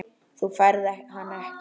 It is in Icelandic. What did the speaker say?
Þú færð hann ekki.